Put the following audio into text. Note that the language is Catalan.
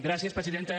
gràcies presidenta